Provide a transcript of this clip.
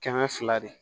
Kɛmɛ fila de